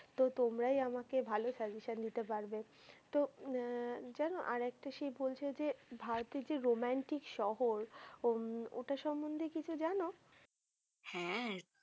তো তোমরাই আমাকে ভালো suggestion দিতে পারবে তো জানো আর একটা সেই বলছে যে ভারতের যে রোমান্টিক শহর উম ওটা সম্বন্ধে কিছু জানো হ্যা